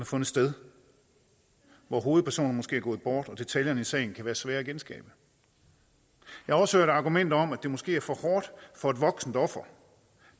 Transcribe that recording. fundet sted hvor hovedpersonerne måske er gået bort og detaljerne i sagen kan være svære at genskabe jeg har også hørt argumenter om at det måske er for hårdt for et voksent offer